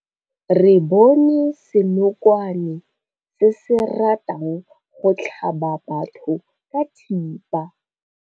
Re bone senokwane se se ratang go tlhaba batho ka thipa.